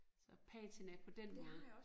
Så patina på den måde